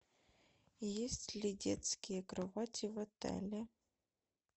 есть ли детские кровати в отеле